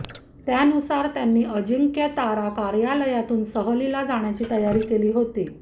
त्यानुसार त्यांनी अजिंक्यतारा कार्यालयातून सहलीला जाण्याची तयारी केली होती